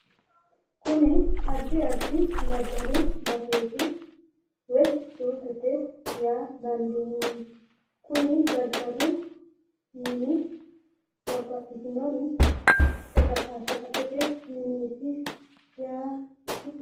Kuni addi addi daddalu baseeti woyi suuqete yaa danddiineemmo. kuni daddalu mini babbaxitinori shaqashaqaxete mineeti yaa dandiineemmo.